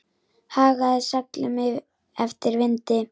Hagaði seglum eftir vindi.